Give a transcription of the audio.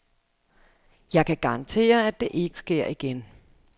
Jeg kan garantere, at det ikke sker igen.